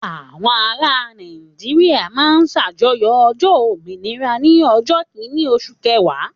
Àwọn ará Nàìjíríà máa ń ṣàjọyọ̀ ọjọ́ òmìnira ní ọjọ́ kìíní oṣù kẹwàá.